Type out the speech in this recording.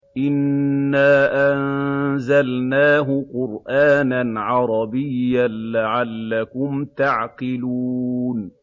إِنَّا أَنزَلْنَاهُ قُرْآنًا عَرَبِيًّا لَّعَلَّكُمْ تَعْقِلُونَ